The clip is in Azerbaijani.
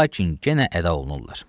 Və lakin genə əda olunurlar.